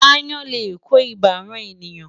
Aáyán lè kó ibà ran ènìyàn.